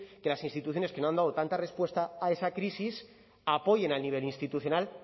que las instituciones que no han dado tanta respuesta a esa crisis apoyen al nivel institucional